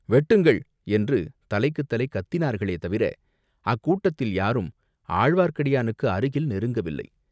வெட்டுங்கள்!" என்று தலைக்குத் தலை கத்தினார்களே தவிர, அக்கூட்டத்தில் யாரும் ஆழ்வார்க்கடியானுக்கு அருகில் நெருங்கவில்லை.